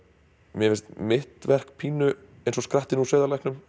mér finnst mitt verk pínu eins og skrattinn úr